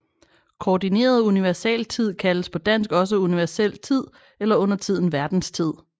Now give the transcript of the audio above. Koordineret universaltid kaldes på dansk også universel tid eller undertiden verdenstid